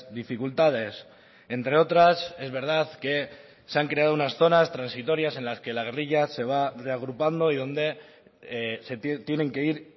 dificultades entre otras es verdad que se han creado unas zonas transitorias en las que la guerrilla se va reagrupando y donde tienen que ir